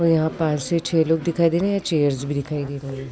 और यहाँ पांच से छे लोग दिखाई दे रहे हैं। चेयर्स भी दिखाई दे रही हैं।